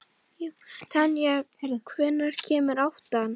Tanja, hvenær kemur áttan?